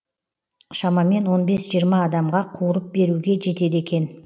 шамамен он бес жиырма адамға қуырып беруге жетеді екен